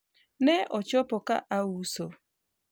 ne ochopo ka auso